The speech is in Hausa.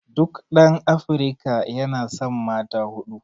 duk ɗan Afrika yana san mata huɗu